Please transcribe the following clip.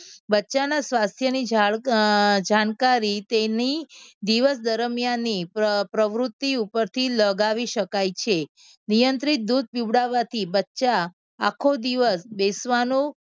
બચ્ચાના સ્વાસ્થ્યની જાળ અમ જાણકારી તેની દિવસ દરમિયાન ને પ્રવૃત્તિ ઉપર લગાવી શકાય છે. નિયંત્રિત દૂધ પીવડાવવાથી બચ્ચા આખો દિવસ બેસવાનો